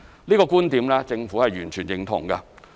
這個觀點政府完全認同。